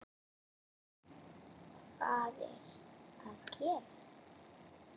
HVAÐ ER AÐ GERAST??